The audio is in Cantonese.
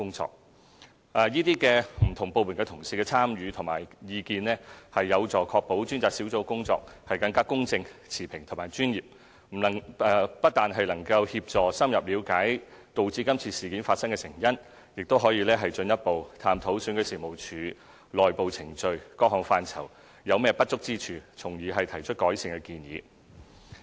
專責小組由不同部門同事參與和給予意見，有助確保其工作更公正、持平和專業，不但能夠協助深入了解導致今次事件發生的成因，亦可以進一步探討選舉事務處內部程序等不同範疇，尋找當中不足之處，從而提出改善建議。